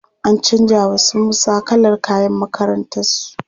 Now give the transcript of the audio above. An canja wa su Musa kalar kayan makakrantarsu.